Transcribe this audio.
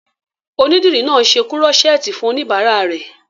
Onídìrí náà n ṣe kúrọ́sẹ́ẹ̀tì fún oníbàárà rẹ̀